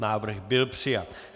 Návrh byl přijat.